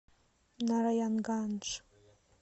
нараянгандж